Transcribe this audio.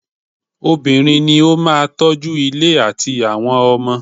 Obìnrin ní o máà tọ́ju ilé àtí àwọn ọmọ.